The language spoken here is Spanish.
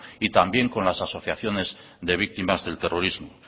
y también con las asociaciones de víctimas del terrorismo